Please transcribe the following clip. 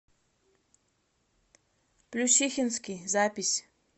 плющихинский запись